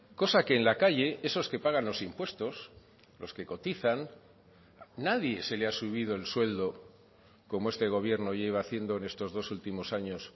cosa que en la calle esos que pagan los impuestos los que cotizan nadie se le ha subido el sueldo como este gobierno lleva haciendo en estos dos últimos años